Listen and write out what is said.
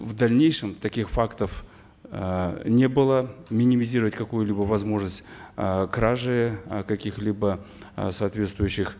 в дальнейшем таких фактов э не было минимизировать какую либо возможность э кражи э каких либо э соответствующих